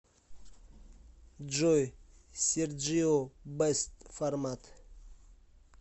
джой серджио бэст формат